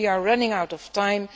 We are running out of time.